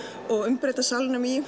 og umbreyta salnum í